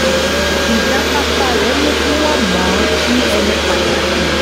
ìjáfáfá rẹ̀ mú kí wọ́n mọ̀ ọ́n sí ẹni pàtàkì